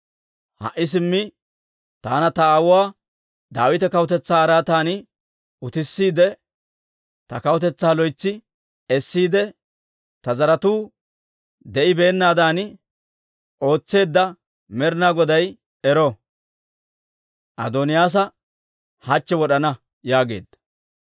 Ha"i simmi taana ta aawuwaa Daawita kawutetsaa araatan utissiide, ta kawutetsaa loytsi essiide, ta zaratuu de'ennaadan ootseedda Med'inaa Goday ero! Adooniyaasa hachche wod'ana!» yaageedda.